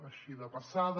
així de passada